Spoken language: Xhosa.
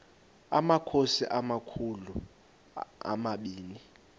amakhosi amakhulu omabini